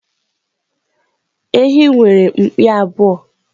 Ehi nwere mpi abụọ.